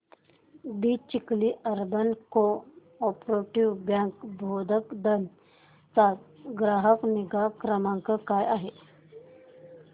दि Chikhli urban cooperative bank Bhokardan चा ग्राहक निगा क्रमांक काय आहे